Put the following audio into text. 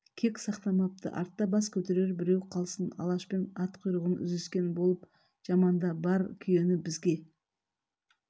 кек сақтамапты артта бас көтерер біреу қалсын алашпен ат құйрығын үзіскен болып жаманда бар күйен бізге